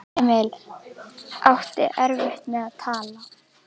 Emil átti erfitt með að tala.